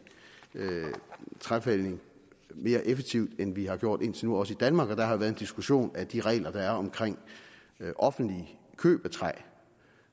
træfældning mere effektivt end vi har gjort indtil nu også i danmark der har været en diskussion af de regler der er omkring offentligt køb af træ og